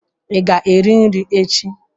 Ị ga-eri nri echi?